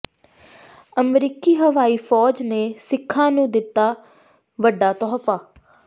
ਅਮਰੀਕੀ ਹਵਾਈ ਫੌਜ ਨੇ ਸਿੱਖਾਂ ਨੂੰ ਦਿੱਤਾ ਵੱਡਾ ਤੋਹਫ਼ਾ